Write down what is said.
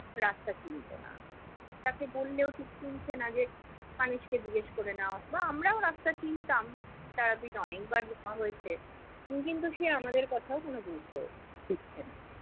রাস্তা চিনতো না। উম তাকে বললেও ঠিক শুনছে না, যে মানুষকে জিজ্ঞেস করে নাও বা আমরাও রাস্তা চিনতাম তার আগে অনেকবার যাওয়া হয়েছে। কিন্তু সে আমাদের কথারও কোনো গুরুত্ব দিচ্ছেনা।